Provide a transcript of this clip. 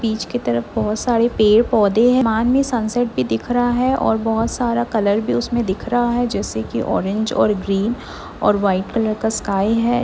बीच की तरफ बहोत सारे पेड़-पौधे हैं आसमान में सनसेट भी दिख रहा हैं और बहोत सारा कलर भी उसमें दिख रहा हैं जैसे कि ऑरेंज और ग्रीन और व्हाइट कलर का स्काई हैं।